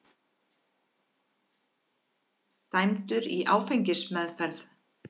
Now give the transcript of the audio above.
Dæmdur í áfengismeðferð